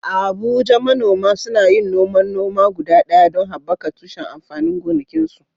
A Abuja, manoma suna yin noman noma guda ɗaya don haɓaka tushen amfanin gonakinsu.